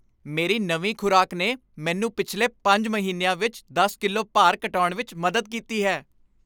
ਮੇਰੀ ਨਵੀਂ ਖ਼ੁਰਾਕ ਨੇ ਮੈਨੂੰ ਪਿਛਲੇ ਪੰਜ ਮਹੀਨਿਆਂ ਵਿੱਚ ਦਸ ਕਿਲੋ ਭਾਰ ਘਟਾਉਣ ਵਿੱਚ ਮਦਦ ਕੀਤੀ ਹੈ